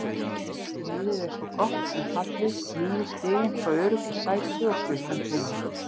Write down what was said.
Liðið er svo gott sem fallið, níu stigum frá öruggu sæti og klukkan tifar.